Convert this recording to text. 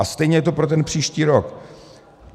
A stejně je to pro ten příští rok.